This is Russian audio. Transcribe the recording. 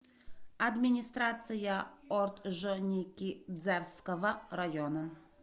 администрация орджоникидзевского района